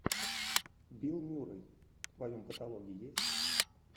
билл мюррей в твоем каталоге есть